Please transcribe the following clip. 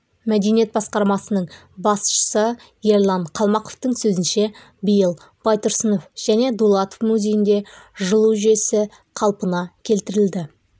мәдениет басқармасының басшысы ерлан қалмақовтың сөзінше биыл байтұрсынов және дулатов музейінде жылу жүйесі қалпына келтірілді